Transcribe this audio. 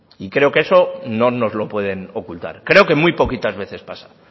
creo que eso no nos lo pueden ocultar creo que muy poquitas veces pasa